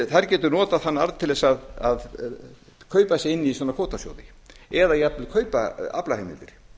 þær gætu notað þann arð til að kaupa sig inn í svona kvótasjóði eða jafnvel kaupa aflaheimildir